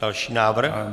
Další návrh.